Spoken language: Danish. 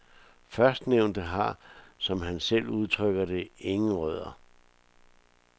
Førstnævnte har, som han selv udtrykker det, ingen rødder.